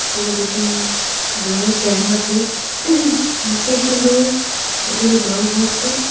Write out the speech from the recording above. ওপরে দুটি জলের ট্যাংক আছে নীচে একটি লোক বোতলে জল ভরছে।